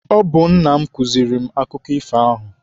Ọ bụ nna m kụziere m akụkọ ifo ahụ.